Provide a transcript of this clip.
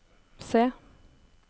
se